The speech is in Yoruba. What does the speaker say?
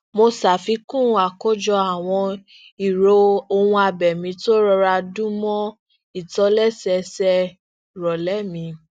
mo safikun akojọ awọn iro ohunabẹmi to n rọra dun mọ ìtòlésẹẹsẹ ìrọlẹ mi